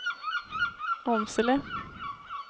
Åmsele